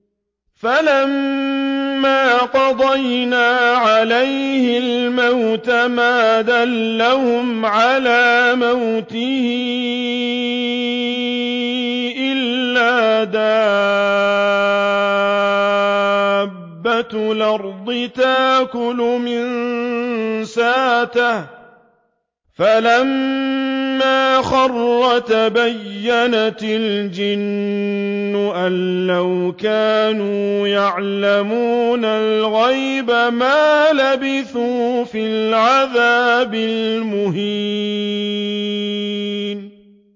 فَلَمَّا قَضَيْنَا عَلَيْهِ الْمَوْتَ مَا دَلَّهُمْ عَلَىٰ مَوْتِهِ إِلَّا دَابَّةُ الْأَرْضِ تَأْكُلُ مِنسَأَتَهُ ۖ فَلَمَّا خَرَّ تَبَيَّنَتِ الْجِنُّ أَن لَّوْ كَانُوا يَعْلَمُونَ الْغَيْبَ مَا لَبِثُوا فِي الْعَذَابِ الْمُهِينِ